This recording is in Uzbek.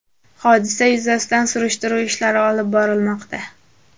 Hodisa yuzasidan surishtiruv ishlari olib borilmoqda.